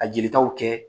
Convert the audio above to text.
A jelitaw kɛ